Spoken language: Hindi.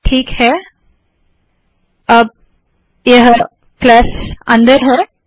ठीक है अब यह प्लस अंदर है